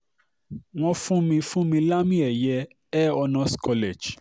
wọ́n fún mi fún mi lámì-ẹ̀yẹ uair honors college